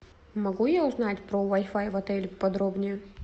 могу я узнать про вай фай в отеле подробнее